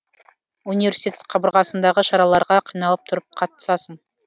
университет қабырғасындағы шараларға қиналып тұрып қатысасың